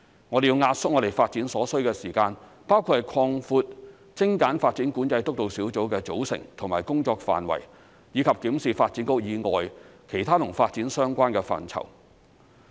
我們要壓縮發展所需時間，包括擴闊精簡發展管制督導小組的組成和工作範圍，以及檢視發展局以外其他與發展相關的範疇。